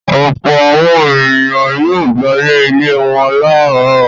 Ọ̀pọ̀ àwọn ènìyàn yóò gbálẹ̀ ilé wọn láàárọ̀.